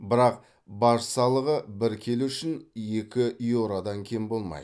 бірақ баж салығы бір келі үшін екі еуродан кем болмайды